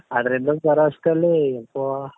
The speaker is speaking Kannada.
ಆದ್ರೆ ಇನ್ನೊಂದು ಸಲ ಅಷ್ಟ್ರಲ್ಲಿ ಪಾ